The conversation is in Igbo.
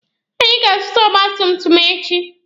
Anyị ga-azụta ọgba tum tum echi.